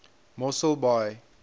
mosselbaai